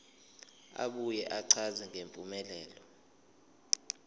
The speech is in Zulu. abuye achaze ngempumelelo